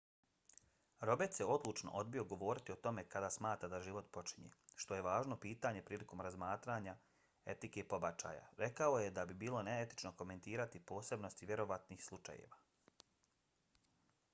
roberts je odlučno odbio govoriti o tome kada smatra da život počinje što je važno pitanje prilikom razmatranju etike pobačaja. rekao je da bi bilo neetično komentirati posebnosti vjerovatnih slučajeva